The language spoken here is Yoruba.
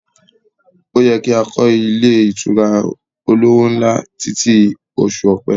Ó yẹ kí a lè kọ́ ilé ìtura olówó ńlá títí i oṣù ọ̀pẹ